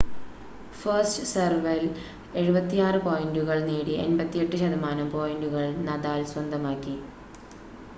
first സെർവിൽ 76 പോയിൻ്റുകൾ നേടി 88% പോയിൻ്റുകൾ നദാൽ സ്വന്തമാക്കി